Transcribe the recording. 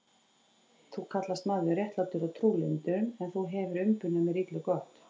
Þú kallast maður réttlátur og trúlyndur, en þú hefir umbunað mér illu gott.